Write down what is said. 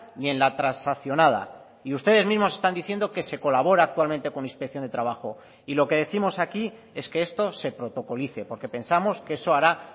ni en la transaccionada y ustedes mismos están diciendo que se colabora actualmente con inspección de trabajo y lo que décimos aquí es que esto se protocolice porque pensamos que eso hará